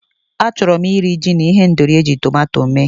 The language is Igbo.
Achọrọ m iri, ji na ihendori eji tọmatọ mee.